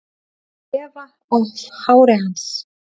Þefa af hári hans.